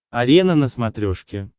арена на смотрешке